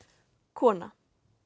kona